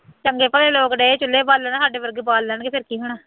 ਚੰਗੇ ਭਲੇ ਲੋਕ ਡੇ ਚੁੱਲ੍ਹੇ ਬਾਲਣ, ਸਾਡੇ ਵਰਗੇ ਬਾਲ ਲੈਣਗੇ ਫੇਰ ਕੀ ਹੋਣਾ